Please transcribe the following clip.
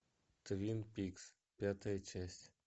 твин пикс пятая часть